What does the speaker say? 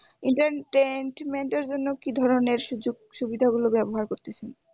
entertainment এর জন্য কি ধরনের সুযোগ সুবিধাগুলো ব্যবহার করতেছেন?